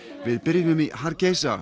við byrjuðum í